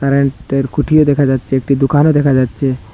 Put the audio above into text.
Current -এর খুঁটিও দেখা যাচ্ছে একটি দোকানও দেখা যাচ্ছে।